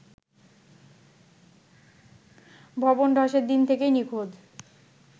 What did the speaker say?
ভবন ধসের দিন থেকেই নিখোঁজ